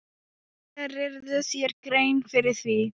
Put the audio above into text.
Gerirðu þér grein fyrir því?